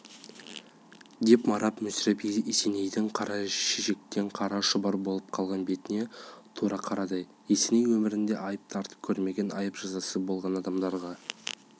деп марат мүсіреп есенейдің қара шешектен қара шұбар болып қалған бетіне тура қарады есеней өмірінде айып тартып көрмеген айып-жазасы болған адамдарға